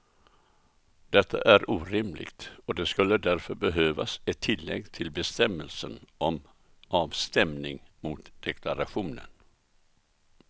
Detta är orimligt och det skulle därför behövas ett tillägg till bestämmelsen om avstämning mot deklarationen.